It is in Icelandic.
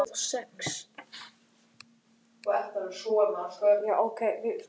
Hún er líka gestur á hátíðinni þetta árið.